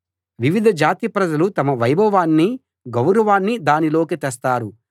వివిధ జాతి ప్రజలు తమ వైభవాన్నీ గౌరవాన్నీ దానిలోకి తెస్తారు